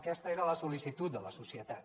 aquesta era la sol·licitud de la societat